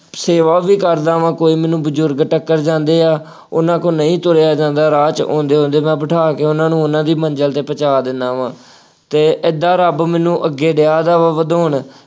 ਸੇਵਾ ਵੀ ਕਰਦਾ ਵਾਂ, ਕੋਈ ਮੈਨੂੰ ਬਜ਼ੁਰਗ ਟੱਕਰ ਜਾਂਦੇ ਆ, ਉਹਨਾ ਕੋਲੋਂ ਨਹੀਂ ਤੁਰਿਆਂ ਜਾਂਦਾ ਰਾਹ ਚ ਆਉਂਦੇ ਆਉਂਦੇ ਮੈਂ ਬਿਠਾ ਕੇ ਉਹਨਾ ਨੂੰ ਉਹਨਾ ਦੀ ਮੰਜ਼ਿਲ ਤੇ ਪਹੁੰਚਾ ਦਿੰਦਾ ਵਾ ਅਤੇ ਏਦਾਂ ਰੱਬ ਮੈਨੂੰ ਅੱਗੇ ਡਿਆ ਵਾ ਵਧਾਉਣ।